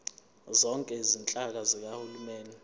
zonke izinhlaka zikahulumeni